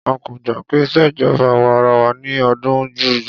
A kò gbà pé ìṣèjọba àwa arawa ni ó dùn jù.